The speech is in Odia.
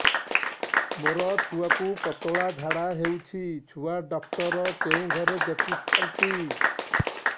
ମୋର ଛୁଆକୁ ପତଳା ଝାଡ଼ା ହେଉଛି ଛୁଆ ଡକ୍ଟର କେଉଁ ଘରେ ଦେଖୁଛନ୍ତି